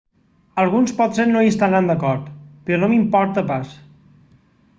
alguns potser no hi estaran d'acord però no m'importa pas